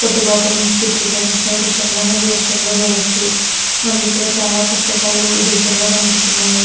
కొట్టు లోపల నించి చిత్రీకరించిన దృశ్యంలా మనకీ దృశ్యంలో చూడచ్చు. మనకి ఇక్కడ చాలా పుస్తకాలు ఈ దృశ్యంలో కనిపిస్తున్నాయి.